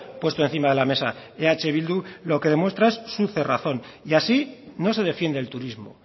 puesto encima de la mesa eh bildu lo que demuestra es su cerrazón y así no se defiende el turismo